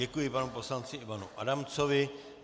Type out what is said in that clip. Děkuji panu poslanci Ivanu Adamcovi.